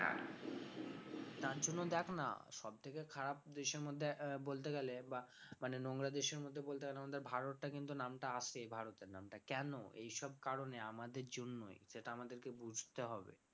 তার জন্য দেখ না সব থেকে খারাপ দেশের মধ্যে আহ বলতে গেলে বা মানে নোংরা দেশের মধ্যে বলতে গেলে আমাদের ভারতটা কিন্তু নামটা আসে ভারতের নামটা কেন এইসব কারণে আমাদের জন্যই সেটা আমাদেরকে বুঝতে হবে